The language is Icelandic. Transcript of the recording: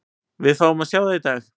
Við fáum að sjá það í dag.